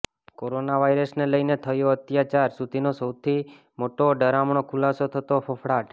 corona વાયરસને લઇને થયો અત્યાર સુધીનો સૌથી મોટો ડરામણો ખુલાસો થતા ફફડાટ